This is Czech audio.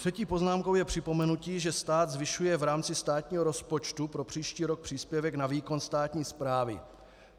Třetí poznámkou je připomenutí, že stát zvyšuje v rámci státního rozpočtu pro příští rok příspěvek na výkon státní správy.